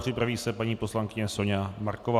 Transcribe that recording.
Připraví se paní poslankyně Soňa Marková.